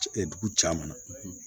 dugu caman na